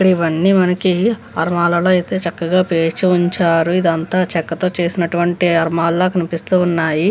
ఇక్కడఇవన్నీ మనకి ఆల్మరుల ఐతే చక్కగా పేర్చి ఉంచారు ఇదంతా చెక్కతో చేసినటువంటి అల్మారాల కనిపిస్తున్నాయి.